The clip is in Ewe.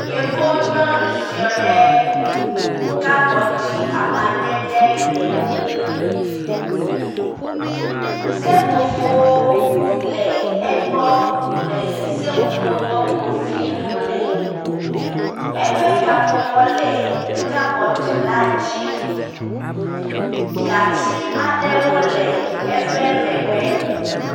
Yevu nyɔnu ziɔ ɖɖe kabɔdi amadede gbemu. Seƒoƒo le egbɔ le seƒoƒo tɔkpo viwo me. Eƒe kaƒomɔ le kabɔdi la dzi. Gatsiwo le eƒe megbe.